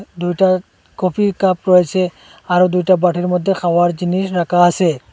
দুইটা কফির কাপ রয়েছে আরও দুইটা বাটির মদ্যে খাওয়ার জিনিস রাখা আছে।